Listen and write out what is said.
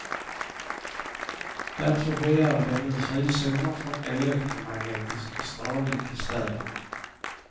Därför begär de nu frizoner från elektromagnetisk strålning i städerna.